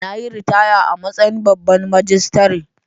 Na yi ritaya a matsayin babban majistare.